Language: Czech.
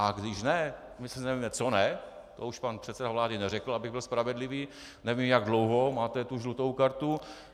A když ne, my sice nevíme, co ne, to už pan předseda vlády neřekl, abych byl spravedlivý, nevím, jak dlouho máte tu žlutou kartu.